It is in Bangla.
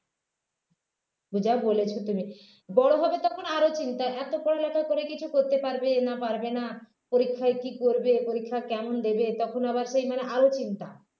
যা বলেছ তুমি বড় হবে তখন আরও চিন্তা এত পড়ালেখার পরে কিছু করতে পারবে না পারবে না পরীক্ষায় কী করবে পরীক্ষা কেমন দেবে তখন আবার সেই মানে আরো চিন্তা